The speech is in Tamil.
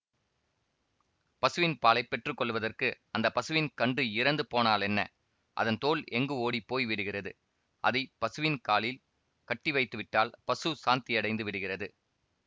பசுவின் பாலை பெற்று கொள்வதற்கு அந்த பசுவின் கன்று இறந்து போனாலென்ன அதன் தோல் எங்கு ஓடிப்போய் விடுகிறது அதை பசுவின் காலில் கட்டிவைத்துவிட்டால் பசு சாந்தியடைந்து விடுகிறது